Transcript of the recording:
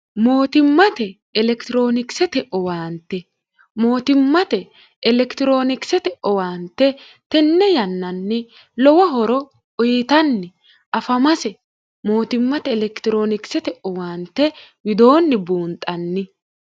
mootimmate elekitiroonikisete owaante mootimmate elekitiroonikisete owaante tenne yannanni lowo horo uyitanni afamase mootimmate elekitiroonikisete owaante widoonni buunxanni